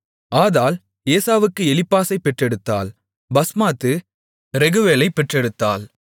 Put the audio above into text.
ஆதாள் ஏசாவுக்கு எலிப்பாசைப் பெற்றெடுத்தாள் பஸ்மாத்து ரெகுவேலைப் பெற்றெடுத்தாள்